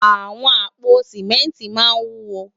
Awòn àpó simènti má n wúwó